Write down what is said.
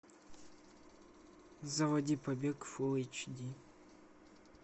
заводи побег фулл эйч ди